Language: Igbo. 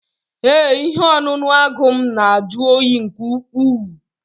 Ee, ihe ọṅụṅụ agụ m na-ajụ oyi nke ukwuu